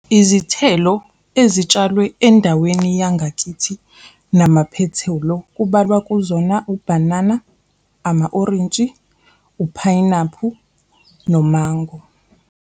Izithelo ezitshalwe endaweni yangakithi namaphethelo kubalwa kuzona, ubhanana, ama-orintshi, uphayinaphu, nomango.